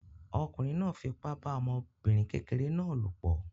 Ọkùnrin náà fipá bá ọmọbìnrin kékeré náà lòpọ̀